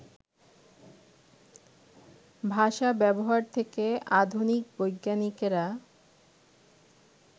ভাষা-ব্যবহার থেকে আধুনিক বৈজ্ঞানিকেরা